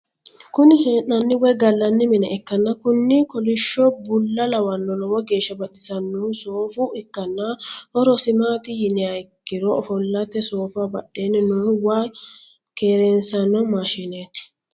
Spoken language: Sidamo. Kuni hee'nanni woy gallanni mine ikkanna kuni kolishsho bulla lawahu lowo geeshsa baxissannohu soofa ikkanna horosi maat yiinaanniha ikkiro ofollatet. soofaho badheenni noohu waa keerensanno maashinet.